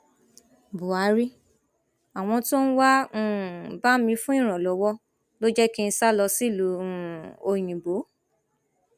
buhari àwọn tó ń wáá um bá mi fún ìrànlọwọ ló jẹ kí n sá lọ sílùú um òyìnbó